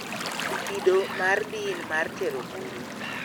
Kido mar din mar Tero buru